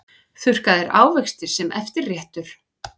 Þurrkaðir ávextir sem eftirréttur